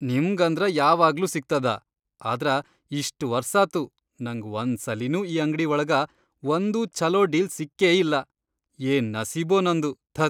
ನಿಮ್ಗಂದ್ರ ಯಾವಾಗ್ಲೂ ಸಿಗ್ತದ ಆದ್ರ ಇಷ್ಟ್ ವರ್ಸಾತು ನಂಗ್ ವಂದ್ಸಲಿನೂ ಈ ಅಂಗ್ಡೀ ವಳಗ ವಂದೂ ಛಲೋ ಡೀಲ್ ಸಿಕ್ಕೇಯಿಲ್ಲಾ, ಯೇನ್ ನಸೀಬೊ ನಂದು.. ಧತ್.